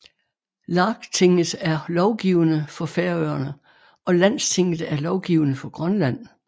Lagtinget er lovgivende for Færøerne og Landstinget er lovgivende for Grønland